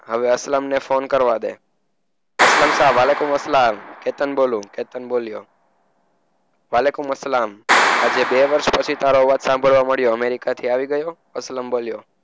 હવે અસલમ ને ફોન કરવા દે. અસલમ શાહ માલેકુમ અસ્સલામ. કેતન બોલ્યું કેતન બોલ્યો. માલેકુમ સલામ આજે બે વર્ષ પછી તારો અવાજ સાંભળવા મળ્યો. અમેરિકાથી આવી ગયો? અસલમ બોલ્યો.